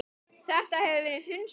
Þetta hefur verið hunsað.